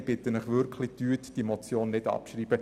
Ich bitte Sie, diese Motion deshalb nicht abzuschreiben.